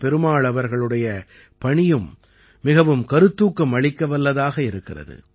பெருமாள் அவர்களுடைய பணியும் மிகவும் கருத்தூக்கம் அளிக்கவல்லதாக இருக்கிறது